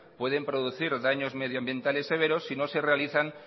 pueden producir daños medioambientales severos si no se realizan